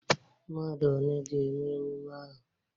Mmadụ one ga-eme emume ahụ?